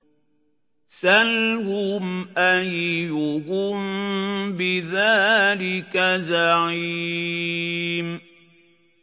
سَلْهُمْ أَيُّهُم بِذَٰلِكَ زَعِيمٌ